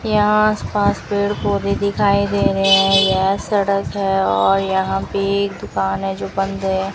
यहां आसपास पेड़ पौधे दिखाई दे रहे हैं यह सड़क है और यहां पे ये एक दुकान है जो बंद है।